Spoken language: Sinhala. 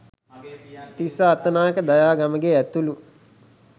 තිස්ස අත්තනායක දයා ගමගේ ඇතුළු